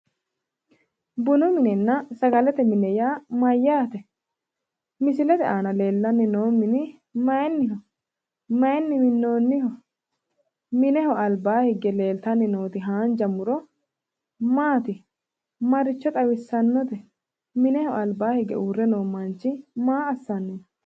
Bunu mininna sagalete mine yaa mayyaate? Misilete aana leellanni noo mini mayinniho? Mayinni minnoonniho? Mineho albaa higge leeltanni nooti haanja muro maati? Maricho xawissannote? Mineho albaa hige uurre noo manchi maa assanni no?